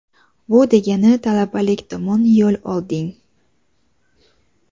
bu degani talabalik tomon yo‘l olding.